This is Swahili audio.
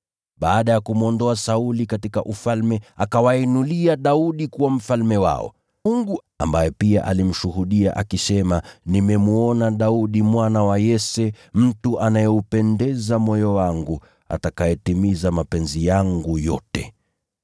Baada ya kumwondoa Sauli katika ufalme, akawainulia Daudi kuwa mfalme wao. Mungu pia alimshuhudia, akisema, ‘Nimemwona Daudi mwana wa Yese, mtu anayeupendeza moyo wangu, atakayetimiza mapenzi yangu yote.’